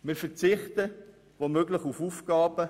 Wir verzichten – wo möglich – auf Aufgaben.